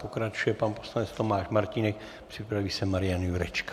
Pokračuje pan poslanec Tomáš Martínek, připraví se Marian Jurečka.